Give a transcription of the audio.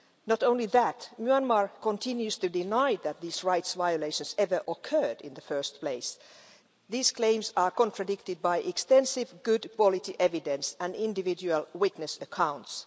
Not only that, Myanmar continues to deny that these rights violations ever occurred in the first place claims that are contradicted by extensive good quality evidence and individual witness accounts.